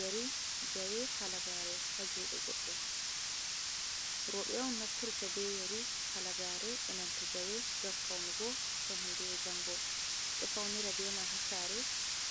Yari jawe halagare hajude goɗɗo, roɓe on nafturta be yari halagare inanta jawe gam faunugo hande e jango, ɗo faunira bemai ha sare